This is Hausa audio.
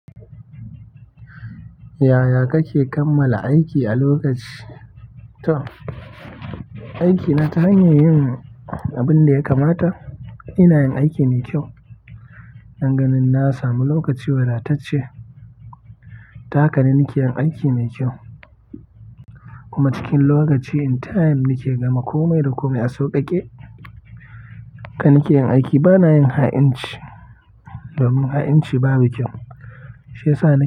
Yaya kake kammala aiki a lokaci? To, aikina ta hanyar yin abin da ya kamata. Ina yin aiki mai kyau. Nan gani na samu lokaci wadatacce. Ta haka ne nike yin aiki mai kyau. Kuma cikin lokaci, in time nake gama komai da komai a sauƙaƙe. Haka nake aiki bana yin ha'inci domin ha'inci babu kyau. Shi ya sa na.